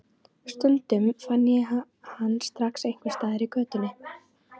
Stundum fann ég hann strax einhvers staðar í götunni.